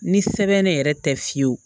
Ni sɛbɛn ne yɛrɛ tɛ fiyewu